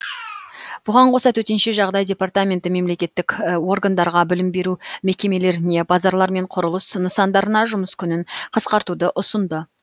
бұған қоса төтенше жағдай департаменті мемлекеттік органдарға білім беру мекемелеріне базарлар мен құрылыс нысандарына жұмыс күнін қысқартуды ұсынды